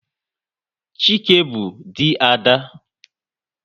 Chike bụ dị Ada